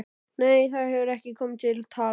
Nei, það hefur ekki komið til tals.